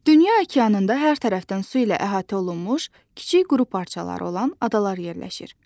Dünya okeanında hər tərəfdən su ilə əhatə olunmuş kiçik quru parçaları olan adalar yerləşir.